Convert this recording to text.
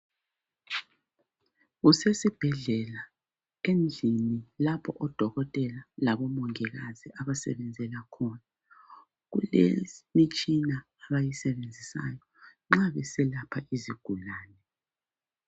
Kusesibhedlela endlini lapho odokotela labomongikazi abasebenzela khona kulemitshina abayisebenzisayo nxa beselapha izigulane.